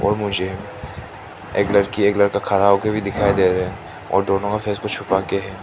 मुझे एक लड़की एक लड़का खड़ा होके भी दिखाई दे रहे हैं और दोनों फेस को छुपा के हैं।